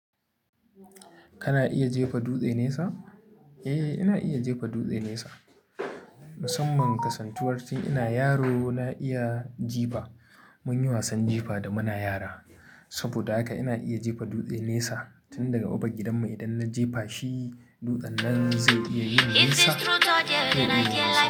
Kana iya jefa dutse nesa? Eh, ina iya jefa duɗe nesa. Musamman kasantuwar ce ina yaro na iya jifa. Mun yi wasan jifa da muna yara saboda haka ina iya jefa dutse nesa. Tun daga Babban gidanmu idan na jefa shi, dutsen nan zai iya yin nisa. Eh, ina iya nesa.